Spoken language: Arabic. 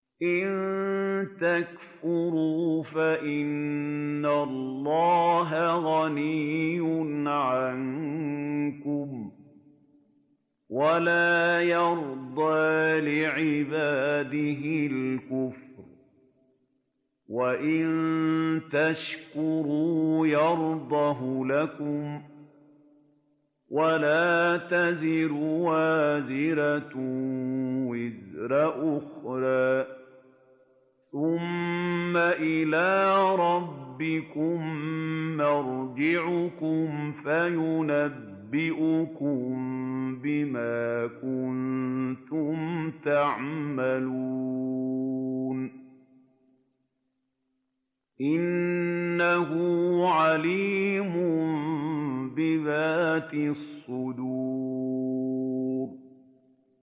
إِن تَكْفُرُوا فَإِنَّ اللَّهَ غَنِيٌّ عَنكُمْ ۖ وَلَا يَرْضَىٰ لِعِبَادِهِ الْكُفْرَ ۖ وَإِن تَشْكُرُوا يَرْضَهُ لَكُمْ ۗ وَلَا تَزِرُ وَازِرَةٌ وِزْرَ أُخْرَىٰ ۗ ثُمَّ إِلَىٰ رَبِّكُم مَّرْجِعُكُمْ فَيُنَبِّئُكُم بِمَا كُنتُمْ تَعْمَلُونَ ۚ إِنَّهُ عَلِيمٌ بِذَاتِ الصُّدُورِ